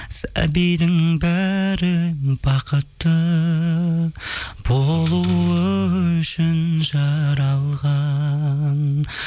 сәбидің бәрі бақытты болуы үшін жаралған